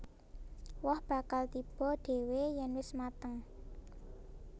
Woh bakal tiba dhéwé yèn wis mateng